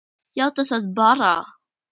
Játaðu það bara!